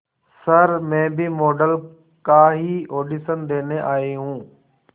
sir मैं भी model का ही ऑडिशन देने आई हूं